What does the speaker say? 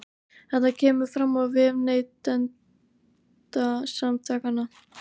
Þetta kemur fram á vef Neytendasamtakanna